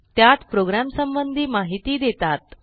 त्यात प्रोग्रॅमसंबंधी माहिती देतात